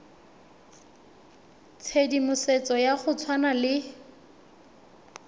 tshedimosetso ya go tshwana le